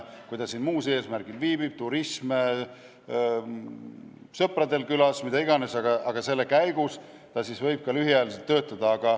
Kui ta siin muul eesmärgil viibib – turism, sõpradel külas, mida iganes –, siis selle käigus võib ta ka lühiajaliselt töötada.